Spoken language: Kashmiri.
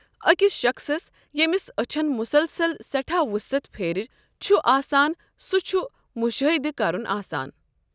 ٲکِس شخصس یمِس ٲچھن مُسلسل سیٹھاہ وُسعت پھیرٕ چھُ آسان سُہ چھُ مشٲہدٕ کرُن آسان۔